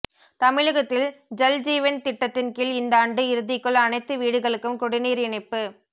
தமிழகத்தில் ஜல்ஜீவன் திட்டத்தின் கீழ் இந்தாண்டு இறுதிக்குள் அனைத்து வீடுகளுக்கும் குடிநீர் இணைப்பு